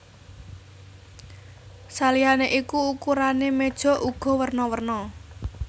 Saliyané iku ukurané méja uga werna werna